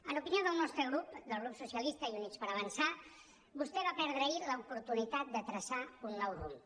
en opinió del nostre grup del grup socialista i units per avançar vostè va perdre ahir l’oportunitat de traçar un nou rumb